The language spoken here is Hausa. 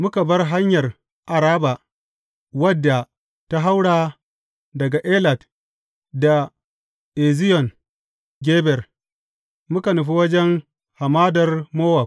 Muka bar hanyar Araba, wadda ta haura daga Elat da Eziyon Geber, muka nufi wajen hamadar Mowab.